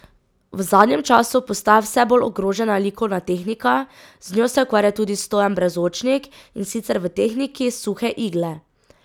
V zadnjem času postaja vse bolj ogrožena likovna tehnika, z njo se ukvarja tudi Stojan Brezočnik, in sicer v tehniki suhe igle.